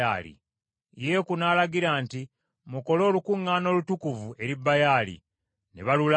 Yeeku n’alagira nti, “Mukole olukuŋŋaana olutukuvu eri Baali.” Ne balulangirira.